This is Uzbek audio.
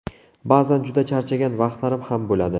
Ba’zan juda charchagan vaqtlarim ham bo‘ladi.